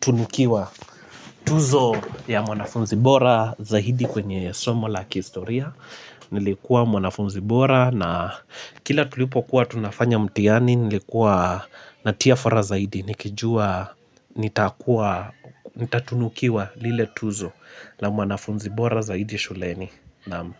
tunukiwa tuzo ya mwanafunzi bora zaidi kwenye somo la kistoria. Nilikuwa mwanafunzi bora na kila tulipokuwa tunafanya mtihani nilikuwa natia fora zaidi. Nikijua nitakuwa, nitatunukiwa lile tuzo la mwanafunzi bora zaidi shuleni. Naam.